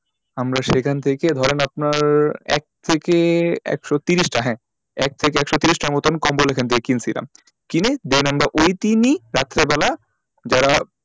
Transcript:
আমরা সেখান থেকে ধরেন আপনার এক থেকে একশো ত্রিশটা হ্যাঁ এক থেকে একশো ত্রিশ তার মতোন কম্বল ওখান থেকে কিনেছিলাম কিনে then আমরা ওই দিনই রাত্রিবেলা যারা,